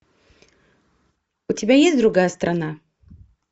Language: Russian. у тебя есть другая страна